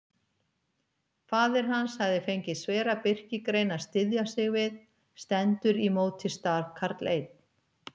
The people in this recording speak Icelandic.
Faðir hans hafði fengið svera birkigrein að styðja sig við: stendur í móti stafkarl einn.